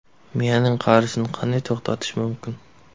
Miyaning qarishini qanday to‘xtatish mumkin?.